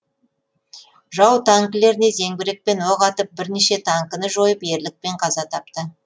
жау танкілеріне зеңбірекпен оқ атып бірнеше танкіні жойып ерлікпен қаза тапты